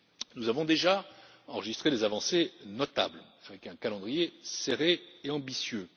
Nous avons déjà enregistré des avancées notables avec un calendrier serré et ambitieux.